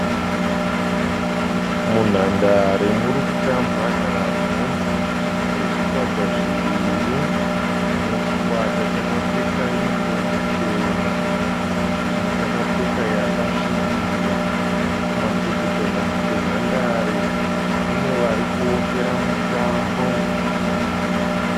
Munhandare muri kutambwa nhabvu nezvikwata zviviri, chimwe chikwata chakapfeka yuniform chena chimwe chakapfeka yakasvibira. Kumacheto kwenhandare kune vari kuvokera mutambo.